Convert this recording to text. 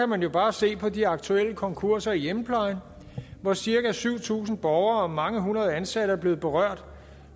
man jo bare se på de aktuelle konkurser i hjemmeplejen hvor cirka syv tusind borgere og mange hundrede ansatte er blevet berørt